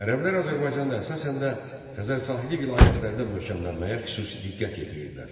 Ərəblər Azərbaycanda əsasən də Xəzər sahili vilayətlərdə möhkəmlənməyə xüsusi diqqət yetirirdilər.